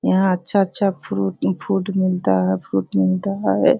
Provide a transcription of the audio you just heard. यहाँ अच्छा-अच्‍छा fruit fruit मिलता है फ्रूट मिलता है।